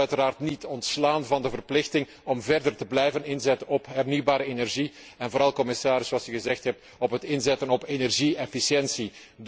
Maar het mag ons uiteraard niet ontslaan van de verplichting om verder te blijven inzetten op hernieuwbare energie, en vooral commissaris, zoals u gezegd hebt, op het inzetten op energie efficiëntie.